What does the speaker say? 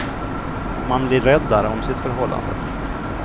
Och man blir räddare om sitt förhållande.